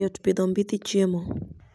Yot pitho mbithi chiemo